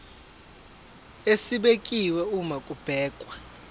esibekiwe uma kubhekwa